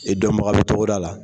I dɔnbagala togoda la.